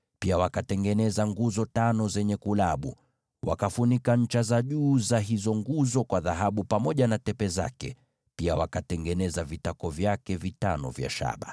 Pia wakatengeneza nguzo tano zenye kulabu. Wakafunika ncha za juu za hizo nguzo pamoja na tepe zake kwa dhahabu, na pia wakatengeneza vitako vyake vitano vya shaba.